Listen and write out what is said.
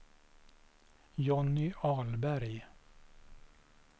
Johnny Ahlberg